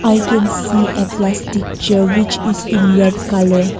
i can see a plastic chair which is in red colour.